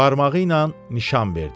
Barmağı ilə nişan verdi.